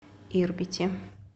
ирбите